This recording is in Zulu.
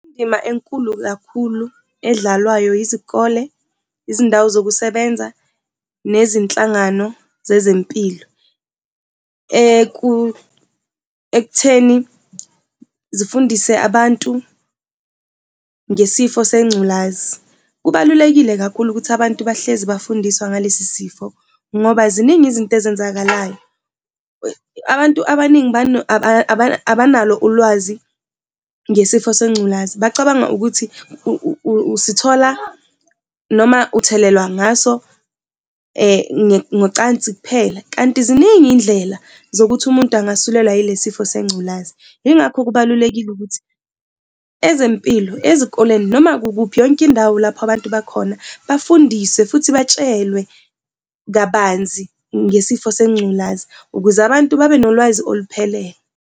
Indima enkulu kakhulu edlalwayo izikole, izindawo zokusebenza nezinhlangano zezempilo ekutheni zifundise abantu ngesifo sengculazi. Kubalulekile kakhulu ukuthi abantu bahlezi bafundiswa ngalesi sifo ngoba ziningi izinto ezenzakalayo. Abantu abaningi abanalo ulwazi ngesifo sengculazi, bacabanga ukuthi usithola noma uthelelwa ngaso ngocansi kuphela, kanti ziningi iy'ndlela zokuthi umuntu angasulelwa yile sifo sengculazi. Yingakho kubalulekile ukuthi ezempilo ezikoleni noma kukuphi yonke indawo lapho abantu bakhona bafundiswe futhi batshelwe kabanzi ngesifo sengculazi ukuze abantu babenolwazi oluphelele.